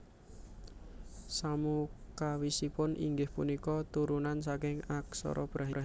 Samukawisipun inggih punika turunan saking aksara Brahmi